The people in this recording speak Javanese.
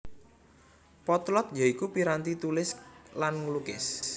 Potlot ya iku piranti tulis lan nglukis